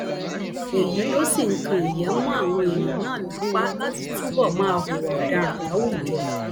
èyí ló sì ń kan ìyè mọ àwọn èèyàn náà lápá láti túbọ máa hùwà ọdaràn láwùjọ